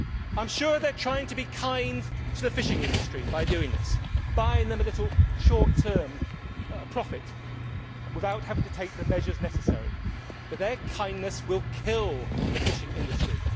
I am sure that they are trying to be kind to the fishing industry by doing this buying them a little short term profit without having to take the measures necessary but their kindness will kill the fishing industry.